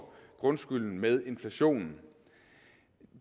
grundskylden med inflationen